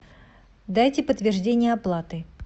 дайте подтверждение оплаты